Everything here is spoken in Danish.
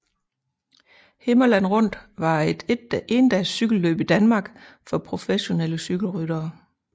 Himmerland Rundt var et endags cykelløb i Danmark for professionelle cykelryttere